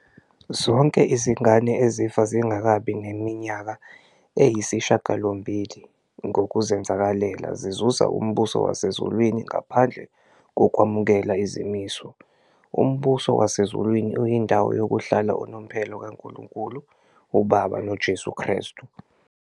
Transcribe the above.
Zonke izingane ezifa zingakabi neminyaka eyisishiyagalombili ngokuzenzakalela zizuza umbuso wasezulwini ngaphandle kokwamukela izimiso. Umbuso wasezulwini uyindawo yokuhlala unomphela kaNkulunkulu uBaba noJesu Kristu.